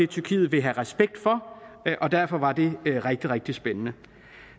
tyrkiet vil have respekt for og derfor var det rigtig rigtig spændende